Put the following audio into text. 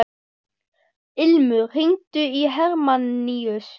Ilmur, hringdu í Hermanníus.